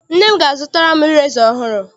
Nne m ga- azụtara m ireza ọhụrụ.